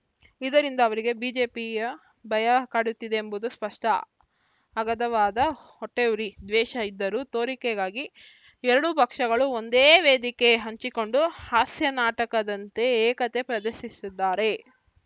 ಇದರಿಂದ ಅವರಿಗೆ ಬಿಜೆಪಿಯ ಭಯ ಕಾಡುತ್ತಿದೆ ಎಂಬುದು ಸ್ಪಷ್ಟ ಅಗಾಧವಾದ ಹೊಟ್ಟೆಉರಿ ದ್ವೇಷ ಇದ್ದರೂ ತೋರಿಕೆಗಾಗಿ ಎರಡೂ ಪಕ್ಷಗಳು ಒಂದೇ ವೇದಿಕೆ ಹಂಚಿಕೊಂಡು ಹಾಸ್ಯ ನಾಟಕದಂತೆ ಏಕತೆ ಪ್ರದರ್ಶಿಸಿದ್ದಾರೆ